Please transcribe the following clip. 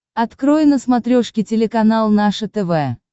открой на смотрешке телеканал наше тв